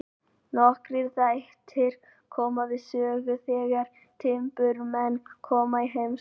Nokkrir þættir koma við sögu þegar timburmenn koma í heimsókn.